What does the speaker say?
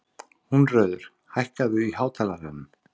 Húnröður, hækkaðu í hátalaranum.